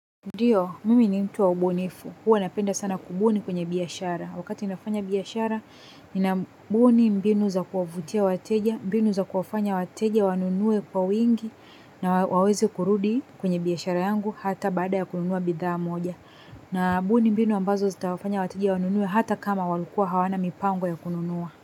Ndio, mimi ni mtu wa ubunifu, huwa napenda sana kubuni kwenye biashara. Wakati nafanya biashara, ninabuni mbinu za kuwavutia wateja, mbinu za kuwafanya wateja wanunue kwa wingi, na waweze kurudi kwenye biashara yangu, hata baada ya kununua bidhaa moja. Na buni mbinu ambazo zitawafanya wateja wanunue hata kama walikuwa hawana mipango ya kununua.